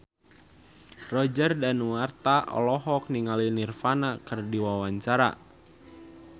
Roger Danuarta olohok ningali Nirvana keur diwawancara